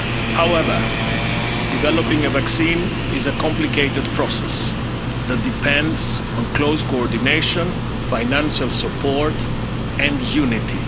disease. However, developing a vaccine is a complicated process that depends on close coordination, financial support